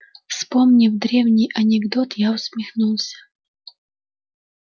вспомнив древний анекдот я усмехнулся